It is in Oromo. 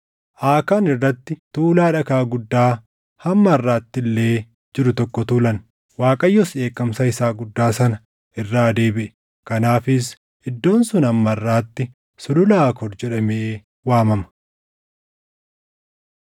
Aakaan irratti tuulaa dhagaa guddaa hamma harʼaatti illee jiru tokko tuulan. Waaqayyos dheekkamsa isaa guddaa sana irraa deebiʼe. Kanaafis iddoon sun hamma harʼaatti Sulula Aakoor jedhamee waamama.